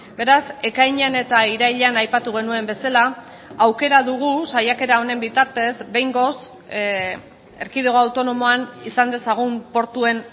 beraz ekainean eta irailean aipatu genuen bezala aukera dugu saiakera honen bitartez behingoz erkidego autonomoan izan dezagun portuen